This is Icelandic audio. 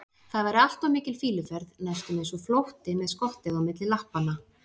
það væri allt of mikil fýluferð, næstum eins og flótti með skottið á milli lappanna.